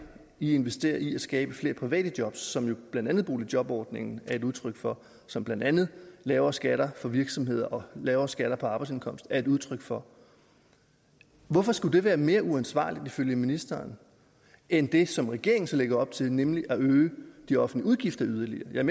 i investerer i at skabe flere private jobs som jo blandt andet boligjobordningen er et udtryk for som blandt andet lavere skatter for virksomheder og lavere skatter på arbejdsindkomst er et udtryk for hvorfor skulle det være mere uansvarligt ifølge ministeren end det som regeringen så lægger op til nemlig at øge de offentlige udgifter yderligere jeg